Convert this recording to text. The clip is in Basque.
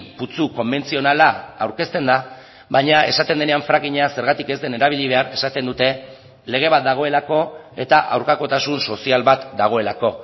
putzu konbentzionala aurkezten da baina esaten denean frackinga zergatik ez den erabili behar esaten dute lege bat dagoelako eta aurkakotasun sozial bat dagoelako